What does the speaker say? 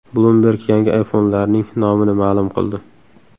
Bloomberg yangi iPhone’larning nomini ma’lum qildi.